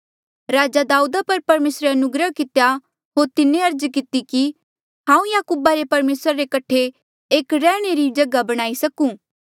राजा दाऊदा पर परमेसरे अनुग्रह कितेया होर तिन्हें अर्ज किती कि हांऊँ याकूबा रे परमेसरा रे कठे एक रैहणे री जगहा बणाई सकूं